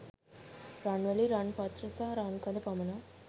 රන් වැලි, රන් පත්‍ර සහ රන් කඳ පමණක්